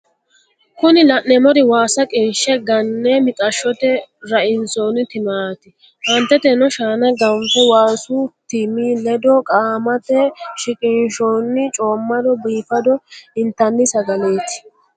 kuni la'neemeri waasa qinshe ganne mixashote rainsonni timaati. aanteteno shaana ganffe waasu timi ledo qaamate shiqinshoonni coomadonna biifado intanni sagaleeti.